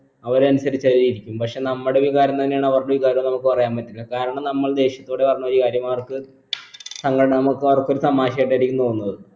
അവരെ അനുസരിച്ചങ്ങനിരിക്കും പക്ഷെ നമ്മുടെ വികാരം തന്നെയാണ് അവരുടെ വികാരംന്ന് നമ്മക്ക് പറയാൻ പറ്റില്ല കാരണം നമ്മൾ ദേഷ്യത്തോടെ പറഞ്ഞ ഒരു കാര്യം അവർക്ക് അവർക്ക് ഒരു തമാശയായിട്ടായിരിക്കും തോന്നുന്നത്